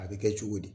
A bɛ kɛ cogo di